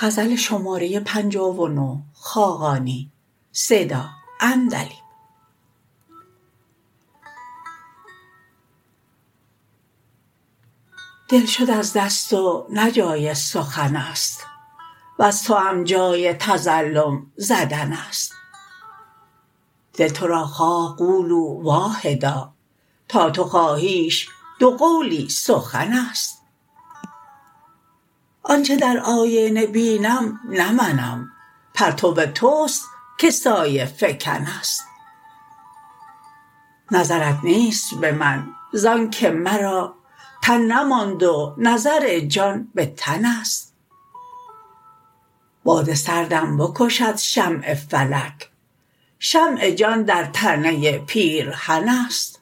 دل شد از دست و نه جای سخن است نز توام جای تظلم زدن است دل تو را خواه قولا واحدا تا تو خواهیش دو قولی سخن است آنچه در آینه بینم نه منم پرتو توست که سایه فکن است نظرت نیست به من زانکه مرا تن نماند و نظر جان به تن است باد سردم بکشد شمع فلک شمع جان در تنه پیرهن است